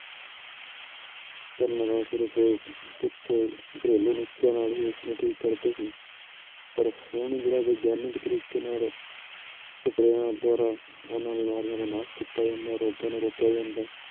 ਪਰ ਸਿਰਫ਼ ਕੁਛ ਘਰੇਲੂ ਨੁਸਖਿਆਂ ਨਾਲ ਹੀ ਉਹਨੂੰ ਠੀਕ ਕਰਦੇ ਸੀ, ਪਰ ਹੁਣ ਜਿਹੜਾ ਵਿਗਿਆਨਿਕ ਤਰੀਕੇ ਨਾਲ ਸਪਰੇਆਂ ਦੁਆਰਾ ਉਹਨਾਂ ਬਿਮਾਰੀਆਂ ਦਾ ਨਾਸ਼ ਕੀਤਾ ਜਾਂਦਾ ਰੋਗਾਂ ਨੂੰ ਰੋਕਿਆ ਜਾਂਦਾ ਹੈ